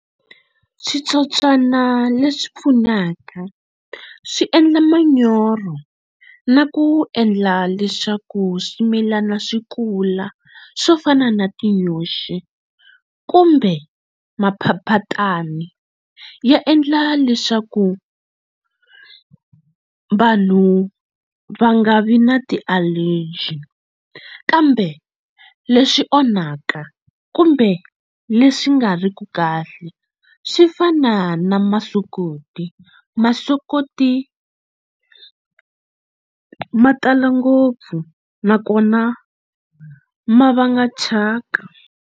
Switsotswana leswi pfunaka swi endla manyoro na ku endla leswaku swimilana swi kula swo fana na tinyoxi kumbe maphaphatani ya endla leswaku vanhu va nga vi na ti-allergy kambe leswi onhaka kumbe leswi nga ri ki kahle swi fana na masokoti masokoti ma tala ngopfu nakona ma va nga chaka.